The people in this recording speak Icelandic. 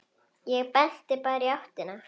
Ég benti bara í áttina.